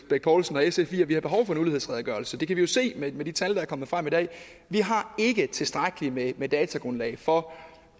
bech poulsen og sf i at vi har behov for en ulighedsredegørelse for det kan vi jo se med de tal der er kommet frem i dag vi har ikke tilstrækkeligt med med datagrundlag for